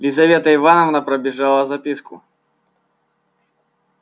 лизавета ивановна пробежала записку